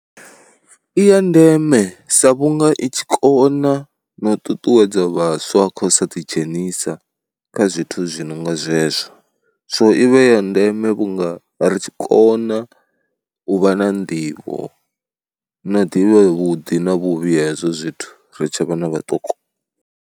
I ya ndeme sa vhunga i tshi kona na u ṱuṱuwedza vhaswa kha u sa ḓidzhenisa kha zwithu zwi no nga zwezwo, so i vha ya ndeme vhunga ri tshi kona u vha na nḓivho no u ḓivha vhuḓi na vhuvhi ha hezwo zwithu ri tshe vhana vhaṱuku.